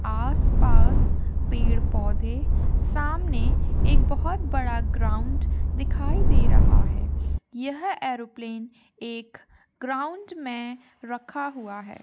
आस पास पेड़ पौधे सामने एक बहुत बड़ा ग्राउंड दिखाई दे रहा है यह एयरोप्लेन एक ग्राउंड में रखा हुआ है।